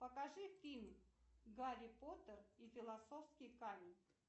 покажи фильм гарри поттер и философский камень